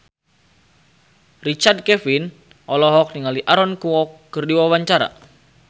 Richard Kevin olohok ningali Aaron Kwok keur diwawancara